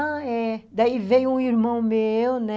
Ah, é. Daí veio um irmão meu, né?